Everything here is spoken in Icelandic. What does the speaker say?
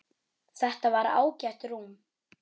Þetta var ágætt rúm.